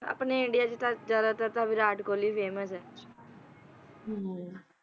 ਆਪਣੇ ਇੰਡੀਆ ਚ ਤਾਂ ਜਿਆਦਾਤਰ ਤਾਂ ਵਿਰਾਟ ਕੋਹਲੀ famous ਹੈ